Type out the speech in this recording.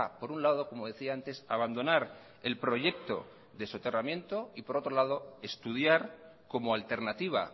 por un lado como decía antes abandonar el proyecto de soterramiento y por otro lado estudiar como alternativa